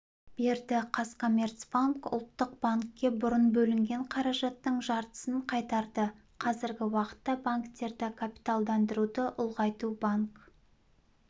берді қазкоммерцбанк ұлттық банкке бұрын бөлінген қаражаттың жартысын қайтарды қазіргі уақытта банктерді капиталдандыруды ұлғайту банк